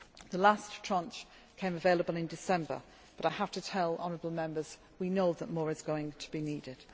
Reserve. The last tranche became available in December, but I have to tell honourable Members that we know that more is going to